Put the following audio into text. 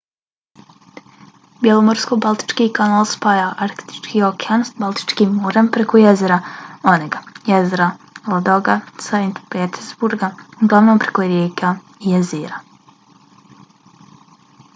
bjelomorsko-baltički kanal spaja arktički okean s baltičkim morem preko jezera onega jezera ladoga i saint petersburga uglavnom preko rijeka i jezera